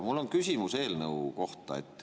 Mul on küsimus eelnõu kohta.